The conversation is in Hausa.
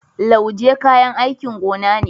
Lauje kayan aikin gona ne.